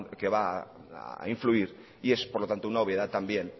que va a influir y es por lo tanto una obviedad también